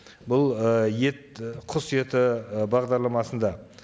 бұл ы ет і құс еті ы бағдарламасында